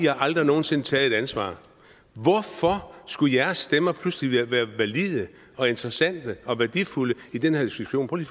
har aldrig nogen sinde taget et ansvar hvorfor skulle jeres stemmer pludselig være valide og interessante og værdifulde i den her diskussion prøv